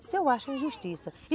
Isso eu acho injustiça.